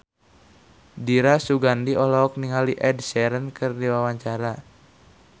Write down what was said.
Dira Sugandi olohok ningali Ed Sheeran keur diwawancara